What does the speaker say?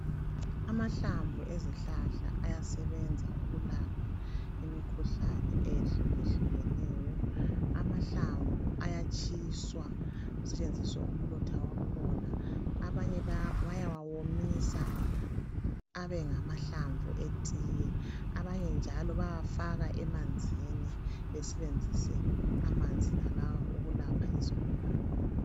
Amahlamvu ezihlahla ayasebenza ukulapha imikhuhlane eyehlukehlukeneyo. Amahlamvu ayatshiswa kusetshenziswe umlotha wakhona. Abanye bayawawomisa abe ngamahlamvu etiye abanye njalo bayawafaka emanzini besebenzise amanzi wonalawo ukulapha izigulane.